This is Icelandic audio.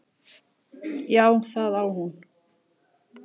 Já, það á hún.